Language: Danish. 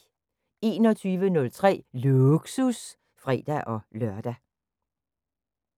21:03: Lågsus (fre-lør)